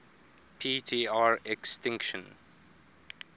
p tr extinction